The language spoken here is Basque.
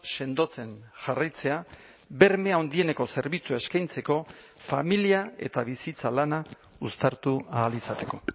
sendotzen jarraitzea berme handieneko zerbitzua eskaintzeko familia eta bizitza lana uztartu ahal izateko